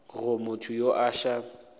go motho yo a sa